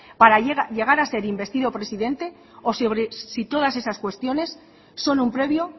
para llegar a ser investido presidente o si sobre todas esas cuestiones son un previo